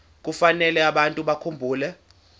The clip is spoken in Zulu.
kufanele abantu bakhumbule